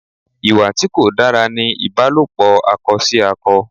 Ìwà tí kò dára ní ìbálòpò akọ sí akọ.